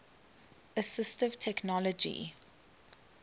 assistive technology